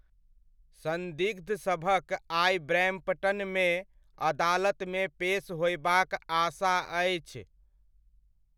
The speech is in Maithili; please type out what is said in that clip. सन्दिग्धसभक आइ ब्रैम्पटनमे अदालतमे पेश होयबाक आशा अछि।